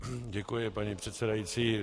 Děkuji, paní předsedající.